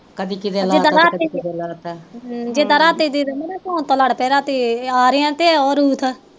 ਅਸੀਂ ਤਾ ਰਾਤੀ